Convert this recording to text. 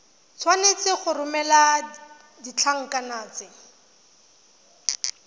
tshwanetse go romela ditlankana tse